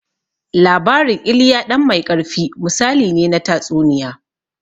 Labarin "Ilya ɗan mai ƙarfi", misali ne na tatsuniya.